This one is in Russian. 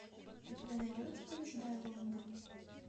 у тебя найдется побеждая лондон